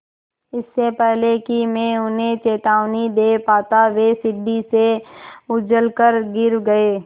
इससे पहले कि मैं उन्हें चेतावनी दे पाता वे सीढ़ी से उलझकर गिर गए